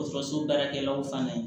Dɔgɔtɔrɔso baarakɛlaw fana ye